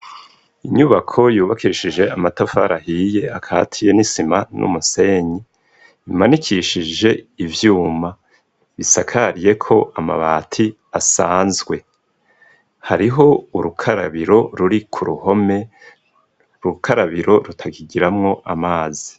Inyubako yubakishije amatafari ahiye akatiye n'isima n'umusenyi .Imanikishije ivyuma bisakariye ko amabati asanzwe. Hariho urukarabiro ruri ku ruhome Urukarabiro rutakigiramwo amazi.